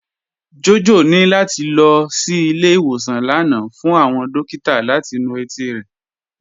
Jọjọ ni lati lọ sí ilẹ̀-ìwọsàn lánà fún awọn dòkìtà láti nú etí rẹ.